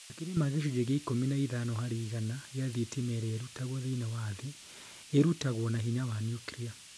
Makĩria ma gĩcunjĩ kĩa ikumi na ithano hari igana kĩa thitima ĩrĩa ĩrutagwo thĩinĩ wa thĩ, ĩrutagwo na hinya wa nyuklia.